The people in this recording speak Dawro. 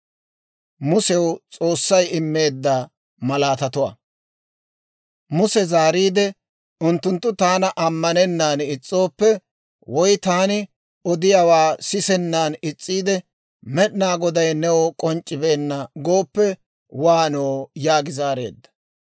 Muse zaariide, «Unttunttu taana ammanennaan is's'ooppe, woy taani odiyaawaa sisennan is's'iide, ‹Med'inaa Goday new k'onc'c'ibeenna› gooppe waanoo?» yaagi zaareedda.